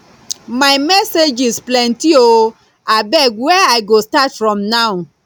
my messages plenty oo abeg where i go start from now